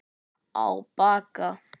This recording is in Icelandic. Á Bakka